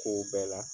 K'o bɛɛ la